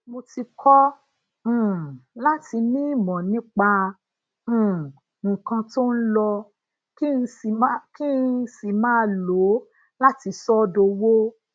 mo ti kọ um láti ní imo nipa um nnkan to n lo kí n n sì máa lo lati so o dowo